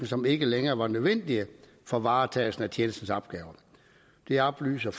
som ikke længere var nødvendige for varetagelse af tjenestens opgaver det oplyser